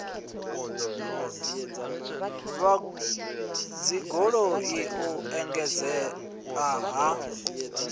vhad ologi u engedzea ha